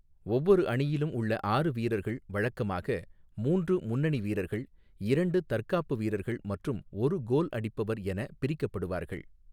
ஒவ்வொரு அணியிலும் உள்ள ஆறு வீரர்கள் வழக்கமாக மூன்று முன்னணி வீரர்கள், இரண்டு தற்காப்பு வீரர்கள் மற்றும் ஒரு கோல் அடிப்பவர் என பிரிக்கப்படுவார்கள்.